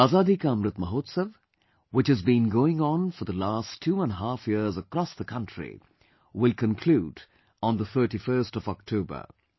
The Azadi Ka Amrit Mahotsav, which has been going on for the last two and a half years across the country, will conclude on the 31st of October